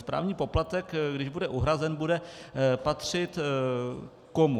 Správní poplatek, když bude uhrazen, bude patřit komu?